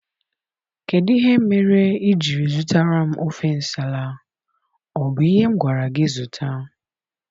Kedụ ihe mere ijiri zụtara m ofe nsala, ọ bu ihe m gwara gị zụta?